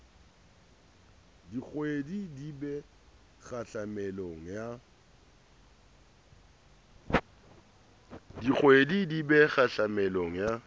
diqwedi di be kgahlamelong ya